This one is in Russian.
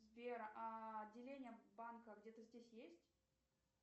сбер а отделения банка где то здесь есть